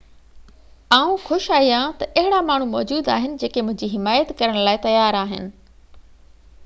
آئون خوش آهيان ته اهڙا ماڻهو موجود آهن جيڪي منهنجي حمات ڪرڻ لاءِ تيار آهن